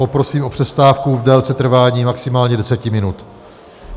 Poprosím o přestávku v délce trvání maximálně 10 minut.